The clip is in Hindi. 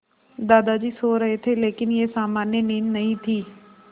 दादाजी सो रहे थे लेकिन यह सामान्य नींद नहीं थी